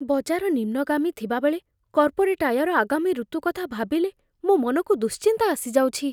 ବଜାର ନିମ୍ନଗାମୀ ଥିବାବେଳେ, କର୍ପୋରେଟ୍ ଆୟର ଆଗାମୀ ଋତୁ କଥା ଭାବିଲେ ମୋ ମନକୁ ଦୁଶ୍ଚିନ୍ତା ଆସିଯାଉଛି।